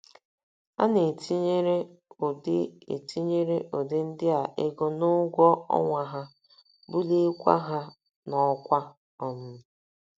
A na - etinyere ụdị etinyere ụdị ndị a ego n’ụgwọ ọnwa ha, buliekwa ha n’ọkwá um.